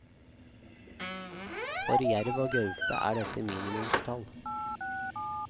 For jerv og gaupe er dette minimumstall.